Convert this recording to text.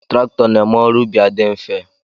Traktọ n'eme ọrụ ubi adị nfe